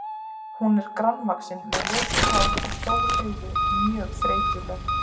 Hún er grannvaxin með ljóst hár og stór augu, mjög þreytuleg.